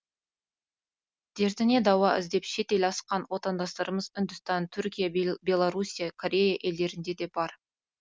дертіне дауа іздеп шет ел асқан отандастарымыз үндістан түркия беларусия корея елдерінде де бар